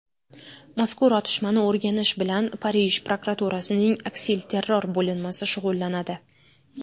Mazkur otishmani o‘rganish bilan Parij prokuraturasining aksilterror bo‘linmasi shug‘ullanadi.